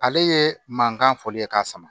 Ale ye mankan fɔli ye k'a sama